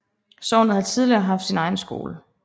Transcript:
Sognet har tidligere haft sin egen skole